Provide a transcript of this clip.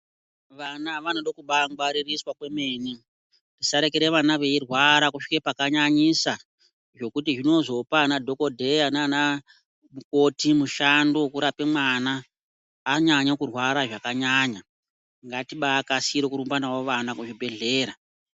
Vana vanode kubai ngwaririswa kwemene tisa rekere vana veirwara kusvike paka nyanyisa zvokuti zvinozopa ana dhokodheya nana mukoti mushando woku rape mwana anyanya kurwara zvaka nyanya ngatibai kasire kurumba navo vana ku zvibhedhlera.